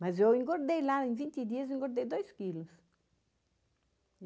Mas eu engordei lá, em vinte dias eu engordei dois quilos.